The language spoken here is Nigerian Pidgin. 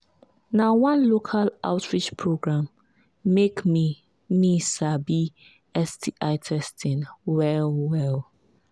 na one local outreach program make me me sabi sti testing well well